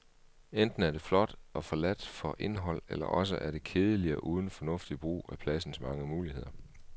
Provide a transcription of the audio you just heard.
Enten er det flot og forladt for indhold, eller også er det kedeligt og uden fornuftig brug af pladens mange muligheder.